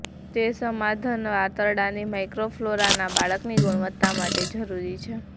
તે સમાધાન આંતરડાની માઇક્રોફલોરા ના બાળકની ગુણવત્તા માટે જરૂરી છે